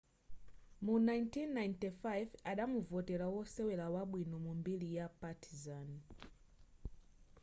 mu 1995 adamuvotera wosewera wabwino mu mbiri ya partizan